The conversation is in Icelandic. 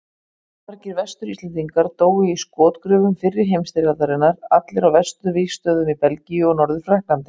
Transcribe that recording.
Allmargir Vestur-Íslendingar dóu í skotgröfum fyrri heimsstyrjaldarinnar, allir á vesturvígstöðvunum í Belgíu og Norður-Frakklandi.